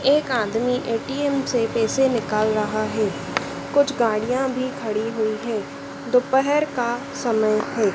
एक आदमी ए_टी_एम से पैसे निकल रहा है कुछ गाड़ियां भी खड़ी हुई है दोपहर का समय है।